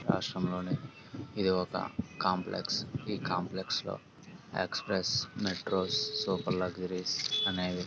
రాష్ట్రంలోనే ఇది ఒక కాంప్లెక్స్ . ఈ కాంప్లెక్స్ లో ఎక్స్ప్రెస్ మెట్రోస్ సూపర్ లగ్జరీస్ అనేవి.